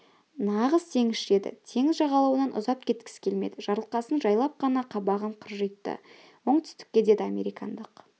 нағыз теңізші еді теңіз жағалауынан ұзап кеткісі келмеді жарылқасын жайлап қана қабағын кіржитті оңтүстікте деді американдық